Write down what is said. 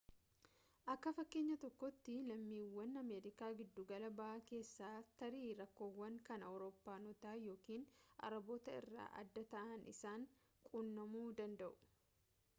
akka fakkeenya tokkootti lammiiwwan ameerikaa giddugala bahaa keessaa tarii rakkoowwan kan awurooppaanotaa yookiin arabootaa irraa adda ta'an isaan quunnamuu danda'u